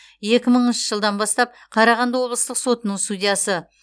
екі мыңыншы жылдан бастап қарағанды облыстық сотының судьясы